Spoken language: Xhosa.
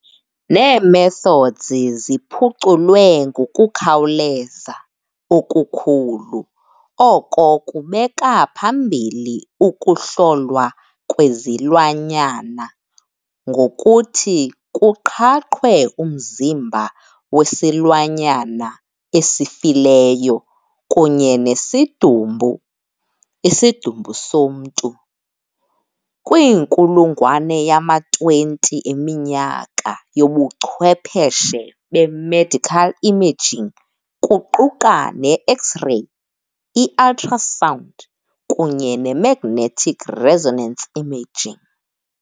Nee-methods ziphuculwe ngokukhawuleza okukhulu, oko kubeka phambili ukuhlolwa kwezilwanyana ngokuthi kuqhaqhwe umzimba wesilwanyana esifileyo kunye nesidumbu, isidumbu somntu, kwinkulungwane yama-20 eminyaka yobuchwepheshe be-medical imaging kuquka ne- X-ray, i-ultrasound, kunye nemagnetic resonance imaging.